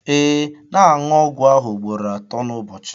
ee, na-aṅụ ọgwụ ahụ ugboro atọ n'ụbọchị